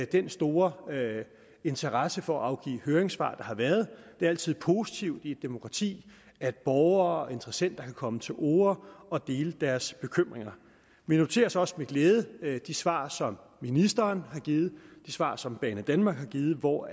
den store interesse for at afgive høringssvar der har været det er altid positivt i et demokrati at borgere og interessenter kan komme til orde og dele deres bekymringer vi noterer os også med glæde de svar som ministeren har givet og de svar som banedanmark har givet hvor